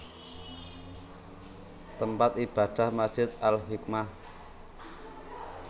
Tempat Ibadah Masjid Al Hikmah